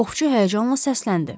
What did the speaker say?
Oxçu həyəcanla səsləndi.